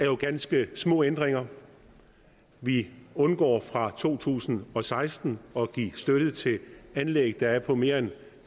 jo ganske små ændringer vi undgår fra to tusind og seksten at give støtte til anlæg der er på mere end